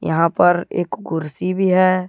यहां पर एक कुर्सी भी है।